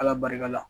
Ala barika la